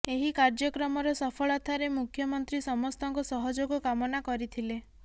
ଏହି କାର୍ଯ୍ୟକ୍ରମର ସଫଳତାରେ ମୁଖ୍ୟମନ୍ତ୍ରୀ ସମସ୍ତଙ୍କ ସହଯୋଗ କାମନା କରିଥିଲେ